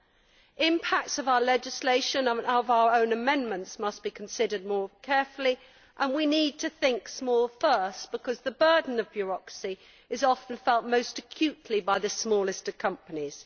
The impact of our legislation and of our own amendments must be considered more carefully and we need to think small first, because the burden of bureaucracy is often felt most acutely by the smallest companies.